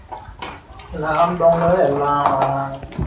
lock down ல தான் எல்லாம் வாங்குனாங்க